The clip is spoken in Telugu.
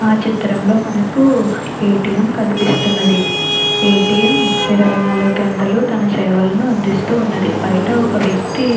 విచిత్రంలో మనకి ఏ-టీ-ఎం కనిపిస్తుంది ఆ ఏ-టీ-ఎంలోని గంటలు తన సేవల అందిస్తూ ఉన్నది బయట ఓక వెక్తి--